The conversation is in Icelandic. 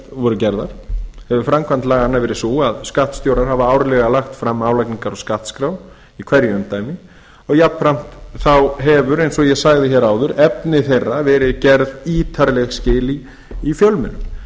voru gerðar hefur framkvæmd laganna verið sú að skattstjórar hafa árlega lagt fram álagningar og skattskrár í hverju umdæmi og jafnframt hefur eins og ég sagði hér áður efni þeirra verið gerð ítarleg skil í fjölmiðlum